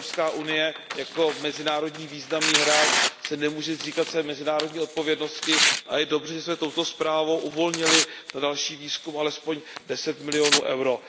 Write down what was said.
EU jako mezinárodní významný hráč se nemůže zříkat své mezinárodní odpovědnosti. Je dobře, že jsme touto zprávou uvolnili na další výzkum alespoň 10 milionů EUR.